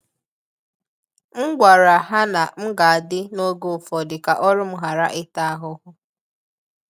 M gwara ha na m ga-adị n’oge ụfọdụ ka ọrụ m ghara ịta ahụhụ.